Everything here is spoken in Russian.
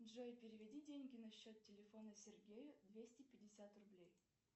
джой переведи деньги на счет телефона сергею двести пятьдесят рублей